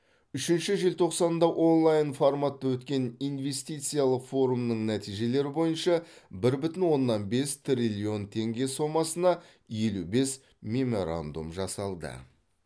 үшінші желтоқсанда онлайн форматта өткен инвестициялық форумның нәтижелері бойынша бір бүтін оннан бес триллион теңге сомасына елу бес меморандум жасалды